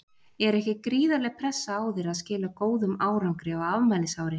Er ekki gríðarleg pressa á þér að skila góðum árangri á afmælisári?